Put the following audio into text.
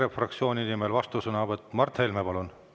EKRE fraktsiooni nimel vastusõnavõtt, Mart Helme, palun!